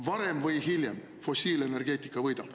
Varem või hiljem fossiilenergeetika võidab.